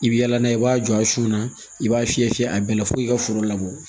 I bi yala n'a ye i b'a jɔ a su na i b'a fiyɛ fiyɛ a bɛɛ la fo i ka foro labɔ